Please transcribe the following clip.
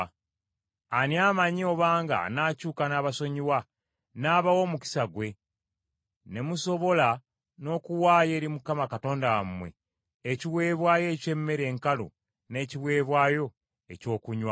Ani amanyi obanga anaakyuka n’abasonyiwa, n’abawa omukisa gwe ne musobola n’okuwaayo eri Mukama Katonda wammwe ekiweebwayo eky’emmere enkalu, n’ekiweebwayo eky’ekyokunywa?